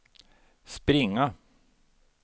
springa